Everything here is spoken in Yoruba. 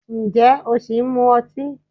Ǹjẹ́ o ṣì ń mu ọtí?